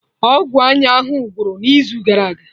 Ọgwụ anya ahụ gwụrụ n'izu gara aga